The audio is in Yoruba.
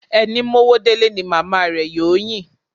Ẹni mówó délé ni màmá rẹ̀ yóò yìn.